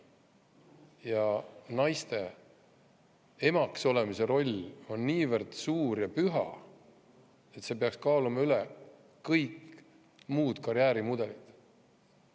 Ja naiste emaks olemise roll on niivõrd suur ja püha, et see peaks kaaluma üles kõik muud karjäärimudelid.